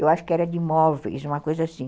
Eu acho que era de móveis, uma coisa assim.